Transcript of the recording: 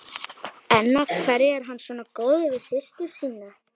En af hverju er hann svona góður við systur sína?